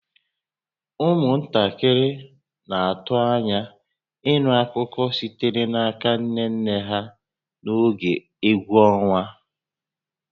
Ụmụntakịrị na-atụ anya ịnụ akụkọ sitere n'aka nne nne ha n'oge egwu ọnwa